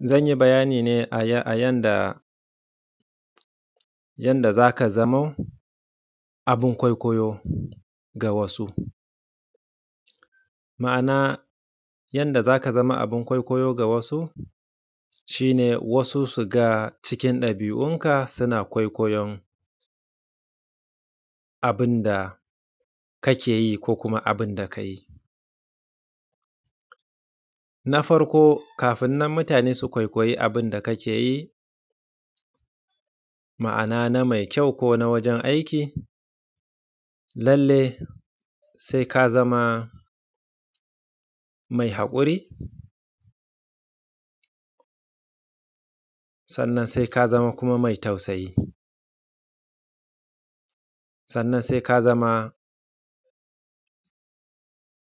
Zan yi bayani ne a yadda za ka zao abun kwaikwayo ga wasu, ma’ana wasu su ga wasu cikin ɗabi’unka suna kwaikwayon abun da kake yi ko kuma abun da ka yi na farko kafin mutane su kwaikwayi abun da kake yi mai kyau ko na wajen aiki lallai sai ka zama mai haƙuri sannan kuma sai ka zama mai tausayi, sannan sai ya zama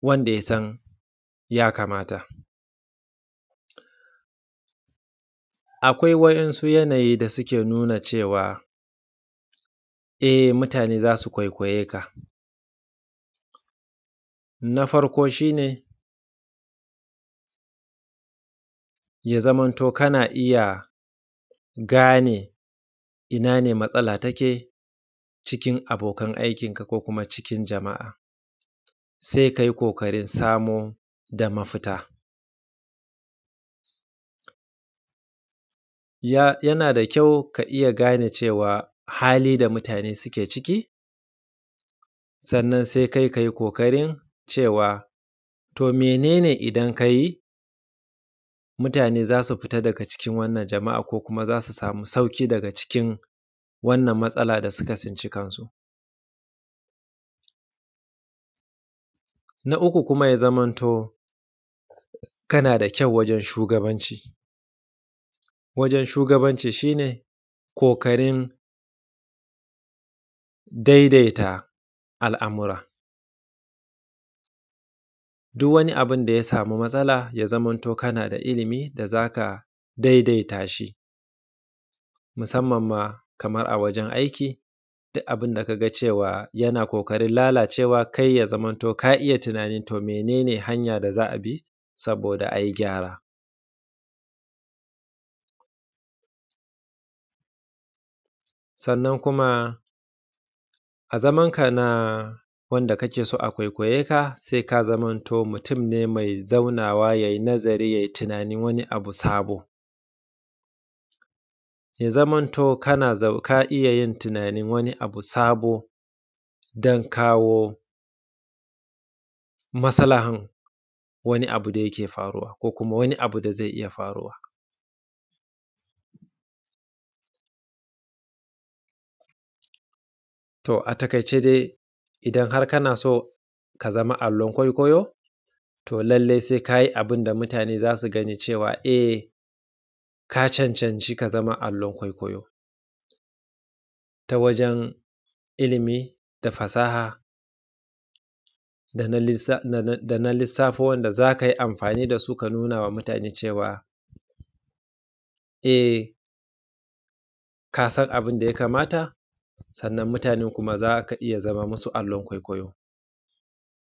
kasan yadda ya kamata. Akwai yanayi da yake nuna cewa e lallai za a kawaikwaye ka na farko shi ne ka zama kana gane ina ne matsala take cikin abokan aikinka ko cikin jama’a sannan sai kai ƙoƙarin samar da mafita yana da kyau ka iya gane halin da mutane suke ciki, sannan kai sai ka yi ƙoƙarin cewa to mene ne idan ka yi mutane za su fita daga cikin wannan jaraba ko kuma su sami sauƙi. Na uku kuma ya zamanto kana da kyau wajen shugabanci shi ne ƙoƙarin daidaita al’amura duk wani abun da ya sami matsala ya zama kana da ilimin da za ka daidaita shi musamman ma a wajen aiki duka abun da ka ga cewa yana ƙoƙarin lalacewa ya zamanto cewa ka gane hanya, to mene ne hanyan da za a bi saboda ai gyara? Sannan kuma a matsayinka na wanda ake so a kwaikwaye ka sai ka mutun ne mai zauna wa ya yi nazari ya yi tunanin wani abu sabo ya zama kana kawo maslahan wani abu da yake faruwa ko kuma wani abu da zai iya faruwa. To, a takaice dai idan kana so ka zama abun kwaikwayo to lallai sai ka yi abun da mutane za su iya gane cewa e ka cancanci ka zama abun kwaikwayo ta wajen ilimi da fasaha da na lissafo za ka yi amfani da su ka nuna ma mutane cewa ka san abun da ya kamata sannan mutanen kuma za ka iya zama musu abun kwaikwayo.